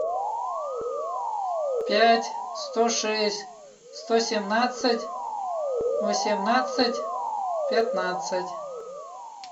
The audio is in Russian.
пять сто шесть сто семнадцать восемнадцать пятнадцать